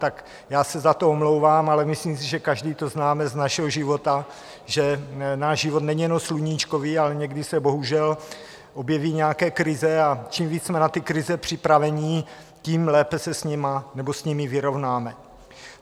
Tak já se za to omlouvám, ale myslím si, že každý to známe z našeho života, že náš život není jenom sluníčkový, ale někdy se bohužel objeví nějaké krize, a čím víc jsme na ty krize připraveni, tím lépe se s nimi vyrovnáme.